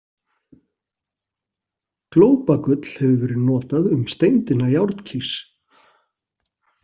Glópagull hefur verið notað um steindina járnkís.